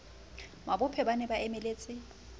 mabophe ba ne ba emeletse